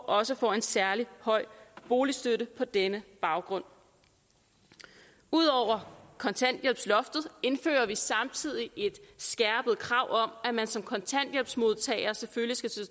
også får en særlig høj boligstøtte på denne baggrund ud over kontanthjælpsloftet indfører vi samtidig et skærpet krav om at man som kontanthjælpsmodtager selvfølgelig skal stå